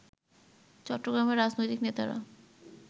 চট্টগ্রামের রাজনৈতিক নেতারা